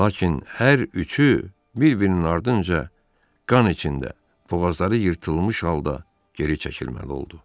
Lakin hər üçü bir-birinin ardınca qan içində, boğazları yırtılmış halda geri çəkilməli oldu.